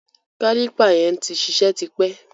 Kálìpà yẹn tí ṣiṣẹ́ ti pẹ́.